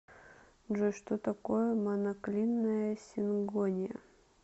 джой что такое моноклинная сингония